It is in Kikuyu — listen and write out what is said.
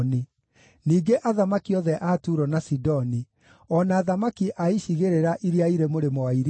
ningĩ athamaki othe a Turo na Sidoni; o na athamaki a icigĩrĩra iria irĩ mũrĩmo wa iria;